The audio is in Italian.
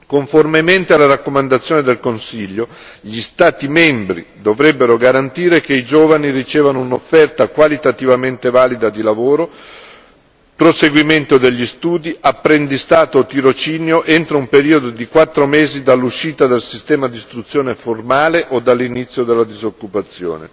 Conformemente alla raccomandazione del Consiglio, gli Stati membri dovrebbero garantire che i giovani ricevano un'offerta qualitativamente valida di lavoro, proseguimento degli studi, apprendistato o tirocinio entro un periodo di quattro mesi dall'uscita dal sistema di istruzione formale o dall'inizio della disoccupazione.